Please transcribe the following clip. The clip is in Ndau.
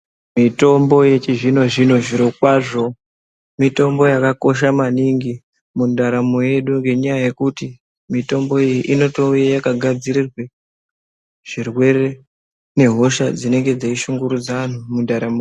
Mitombo yechi zvino zvino zviro kwazvo mitombo yaka kosha maningi mundaramo yedu ne nyaya yekuti mitombo iyi inoto uya yaka gadzirirwe zvirwere ne hosha dzinenge dzei shungurudza anhu mu ndaramo.